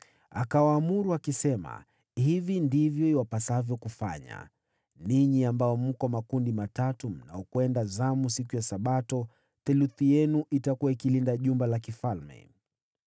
Akawaamuru akisema, “Hivi ndivyo iwapasavyo kufanya: Ninyi ambao mko makundi matatu mnaoingia zamu siku ya Sabato, theluthi yenu inayolinda jumba la kifalme,